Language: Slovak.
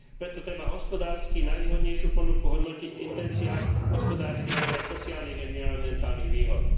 Preto treba hospodársky najvýhodnejšiu ponuku hodnotiť v intenciách hospodárskych, ale aj sociálnych environmentálnych výhod.